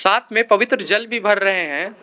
हाथ में पवित्र जल भी भर रहे हैं।